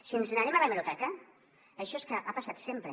si ens n’anem a l’hemeroteca això és que ha passat sempre